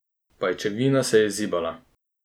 Pajčevina se je zibala.